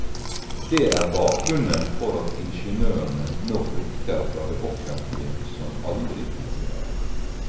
Det er bakgrunnen for at ingeniørene nå flykter fra det offentlige som aldri tidligere.